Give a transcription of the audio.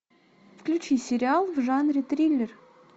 включи сериал в жанре триллер